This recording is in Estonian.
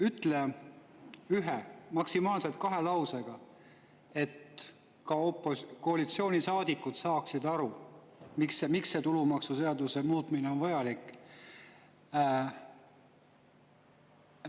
Ütle ühe või maksimaalselt kahe lausega, nii et ka koalitsioonisaadikud aru saaksid, miks see tulumaksuseaduse muutmine on vajalik.